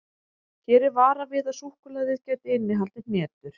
Hér er varað við að súkkulaðið gæti innihaldið hnetur.